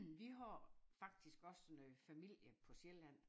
Vi har faktisk også noget familie på Sjælland